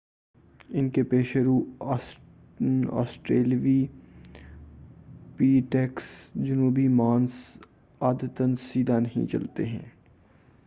ان کے پیش رو، آسٹریلوپیٹیکس جنوبی مانس عادتاً سیدھا نہیں چلتے تھے۔